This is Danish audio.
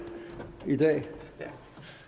vil